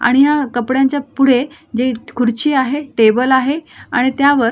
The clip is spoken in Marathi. आणि या कपड्यांच्या पुढे जे खुर्ची आहे टेबल आहे आणि त्या वर--